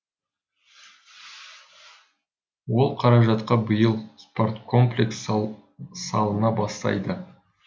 ол қаражатқа биыл спорткомплекс салына бастайды